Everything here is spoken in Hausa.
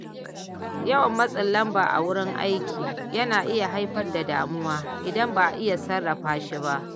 Yawan matsin lamba a wurin aiki yana iya haifar da damuwa idan ba a iya sarrafa shi ba.